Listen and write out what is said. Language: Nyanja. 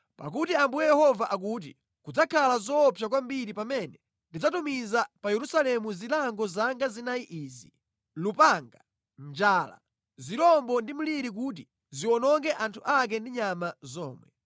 “Pakuti Ambuye Yehova akuti: Kudzakhala zoopsa kwambiri pamene ndidzatumiza pa Yerusalemu zilango zanga zinayi izi: lupanga, njala, zirombo ndi mliri kuti ziwononge anthu ake ndi nyama zomwe!